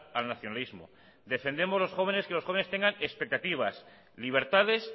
al nacionalismo defendemos a los jóvenes que los jóvenes tengan expectativas libertades